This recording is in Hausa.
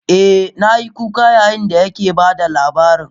Eh, na yi kuka yayin da yake ba da labarin.